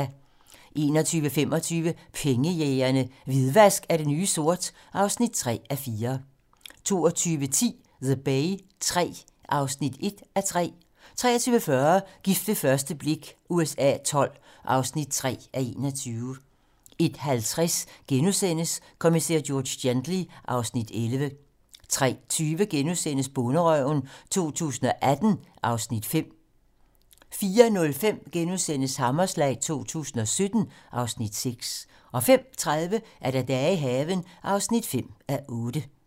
21:25: Pengejægerne - Hvidvask er det nye sort (3:4) 22:10: The Bay III (1:3) 23:40: Gift ved første blik USA XII (3:21) 01:50: Kommissær George Gently (Afs. 11)* 03:20: Bonderøven 2018 (Afs. 5)* 04:05: Hammerslag 2017 (Afs. 6)* 05:30: Dage i haven (5:8)